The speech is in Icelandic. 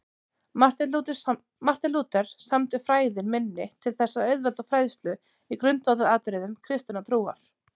Marteinn Lúther samdi Fræðin minni til þess að auðvelda fræðslu í grundvallaratriðum kristinnar trúar.